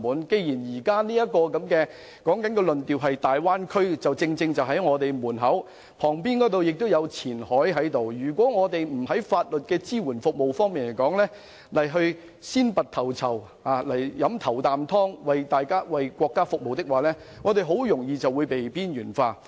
既然現時的焦點集中在大灣區，我們旁邊有深圳前海，如我們不在法律支援服務方面先拔頭籌，為國家服務，很容易便會被邊緣化。